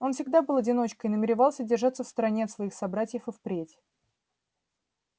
он всегда был одиночкой намеревался держаться в стороне от своих собратьев и впредь